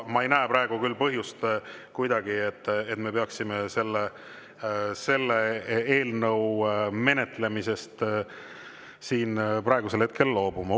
Ma ei näe küll põhjust, et me peaksime selle eelnõu menetlemisest siin hetkel loobuma.